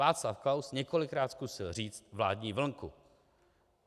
Václav Klaus několikrát zkusil říct vládní vlnku.